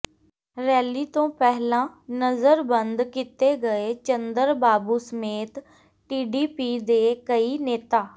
rally ਤੋਂ ਪਹਿਲਾਂ ਨਜ਼ਰਬੰਦ ਕੀਤੇ ਗਏ ਚੰਦਰਬਾਬੂ ਸਮੇਤ ਟੀਡੀਪੀ ਦੇ ਕਈ ਨੇਤਾ